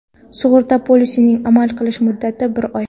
Sug‘urta polisining amal qilish muddati bir oy.